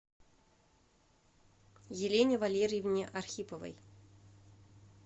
елене валерьевне архиповой